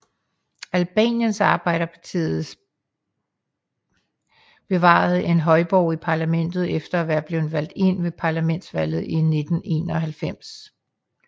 Albaniens Arbejdets Parti bevarede en højborg i parlamentet efter at være blevet valgt ind ved parlamentsvalget i 1991